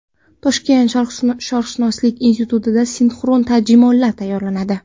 Toshkent sharqshunoslik institutida sinxron tarjimonlar tayyorlanadi.